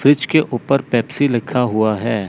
Fridge के ऊपर Pepsi लिखा हुआ है।